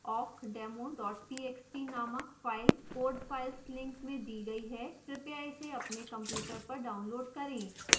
awkdemo txt named file code files link में दी गई है कृपया इसे अपने कंप्यूटर पर डाउनलोड़ करें